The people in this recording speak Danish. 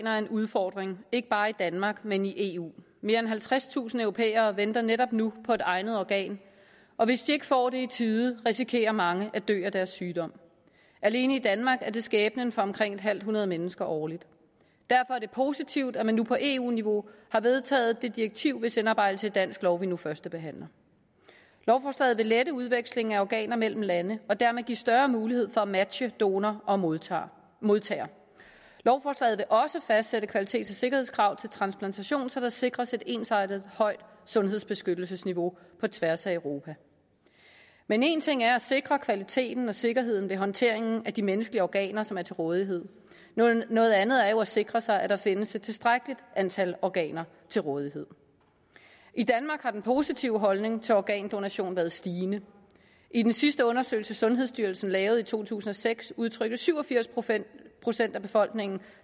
er en udfordring ikke bare i danmark men i eu mere end halvtredstusind europæere venter netop nu på et egnet organ og hvis ikke de får det i tide risikerer mange at dø af deres sygdom alene i danmark er det skæbnen for omkring et halvt hundrede mennesker årligt derfor er det positivt at man nu på eu niveau har vedtaget det direktiv hvis indarbejdelse i dansk lov vi nu førstebehandler lovforslaget vil lette udvekslingen af organer mellem lande og dermed give større mulighed for at matche donor og modtager modtager lovforslaget vil også fastsætte kvalitets og sikkerhedskrav til transplantation så der sikres et ensartet højt sundhedsbeskyttelsesniveau på tværs af europa men en ting er at sikre kvaliteten og sikkerheden ved håndteringen af de menneskelige organer som er til rådighed noget andet er jo at sikre sig at der findes et tilstrækkeligt antal organer til rådighed i danmark har den positive holdning til organdonation været stigende i den sidste undersøgelse sundhedsstyrelsen lavede i to tusind og seks udtrykte syv og firs procent procent af befolkningen